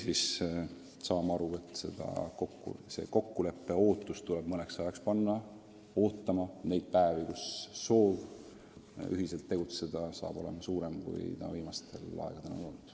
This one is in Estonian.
On ka võimalik, et see kokkulepe tuleb mõneks ajaks panna ootama neid päevi, kus soov ühiselt tegutseda on suurem, kui ta viimasel ajal on olnud.